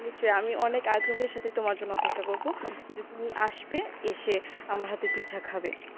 অবশ্যই আমি অনেক আগ্রহের সাথে তোমার জন্য অপেক্ষা করব যে তুমি আসবে এসে আমার হাতের পিঠা খাবে